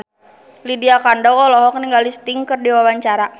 Lydia Kandou olohok ningali Sting keur diwawancara